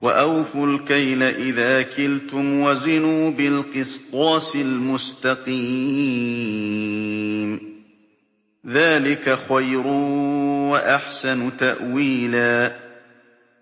وَأَوْفُوا الْكَيْلَ إِذَا كِلْتُمْ وَزِنُوا بِالْقِسْطَاسِ الْمُسْتَقِيمِ ۚ ذَٰلِكَ خَيْرٌ وَأَحْسَنُ تَأْوِيلًا